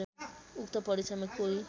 उक्त परीक्षामा कोही